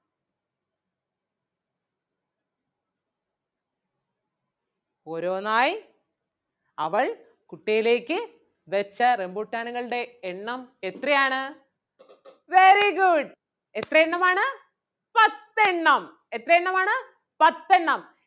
ഓരോന്നായി അവൾ കുട്ടയിലേക്ക് വെച്ച റംബുട്ടാനുകളുടെ എണ്ണം എത്രയാണ് very good എത്രയെണ്ണമാണ് പത്തെണ്ണം എത്രയെണ്ണമാണ് പത്തെണ്ണം